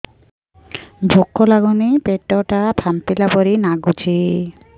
ଭୁକ ଲାଗୁନି ପେଟ ଟା ଫାମ୍ପିଲା ପରି ନାଗୁଚି